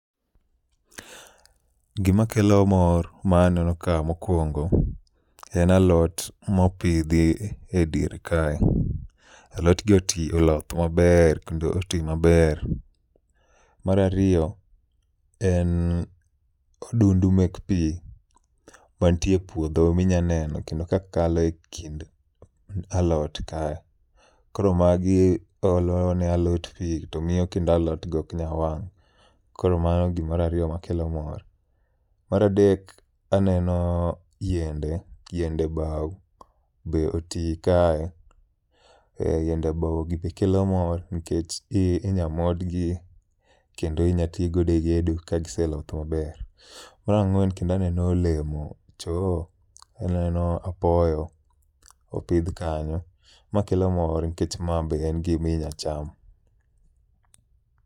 Gima kelo mor ma aneno ka mokwongo en alot mopidhi e dier kae. Alot gi oti oloth maber kendo oti maber. Marariyo en odundu mek pi mantie e puodho minyaneno kendo ka kalo e kind alot kae. Koro magi olo ne alot pi to miyo kendo alot go ok nyal wang', koro mano gimar ariyo makelo mor. Maradek, aneno yiende, yiende bau be oti kae. Yiende bau gi be kelo mor nikech inya modgi kendo inya to godo e gedo ka giseloth maber. Marang'wen kendo aneno olemo choo, then aneno apoyo opidh kanyo. Ma kelo mor nikech ma be en gimi nya cham.